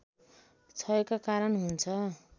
क्षयका कारण हुन्छ